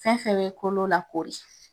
Fɛn fɛn be kolo lakori.